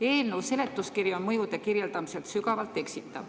Eelnõu seletuskiri on mõjude kirjeldamisel sügavalt eksitav.